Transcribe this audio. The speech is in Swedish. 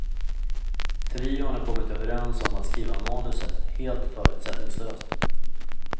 Trion har kommit överens om att skriva manuset helt förutsättningslöst.